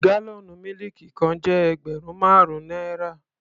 Gálọ̀nú mílìkì kan jẹ́ ẹgbẹ̀rún márùn-ún náírà.